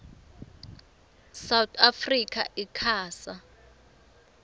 south africa icasa